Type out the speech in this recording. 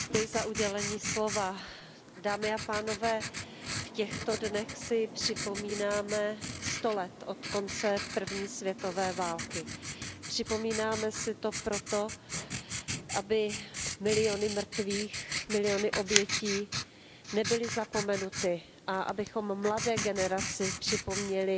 Paní předsedající, v těchto dnech si připomínáme sto let od konce první světové války. Připomínáme si to proto, aby miliony mrtvých, miliony obětí, nebyly zapomenuty a abychom mladé generaci připomněli